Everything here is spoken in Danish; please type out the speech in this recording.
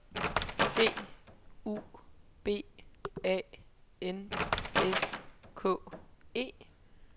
C U B A N S K E